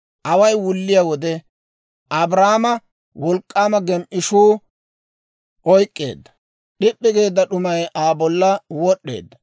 Away wulliyaa wode Abraama wolk'k'aama gem"ishuu oyk'k'eedda; d'ip'p'i geedda d'umay Aa bolla wod'd'eedda.